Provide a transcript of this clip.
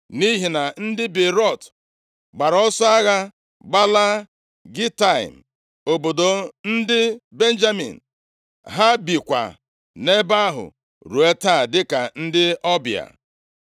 nʼihi na ndị Beerọt gbara ọsọ agha gbalaa Gitaim, obodo ndị Benjamin. Ha bikwa nʼebe ahụ ruo taa dịka ndị ọbịa.